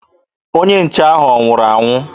Onye nche ahụ ọ nwụrụ anwụ?